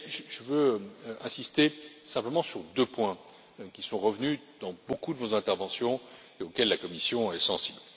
Je voudrais insister simplement sur deux points qui sont revenus dans beaucoup de vos interventions et auxquels la Commission est sensible.